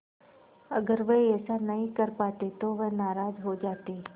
अगर वह ऐसा नहीं कर पाते तो वह नाराज़ हो जाते